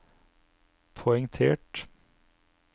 poengtert